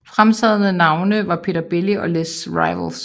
Fremtrædende navne var Peter Belli og Les Rivals